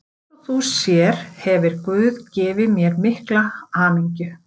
Eins og þú sér hefir guð gefið mér mikla hamingju.